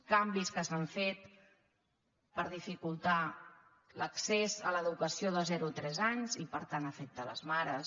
canvis que s’han fet per dificultar l’ac·cés a l’educació de zero a tres anys i per tant afecta les mares